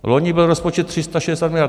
Loni byl rozpočet 360 miliard.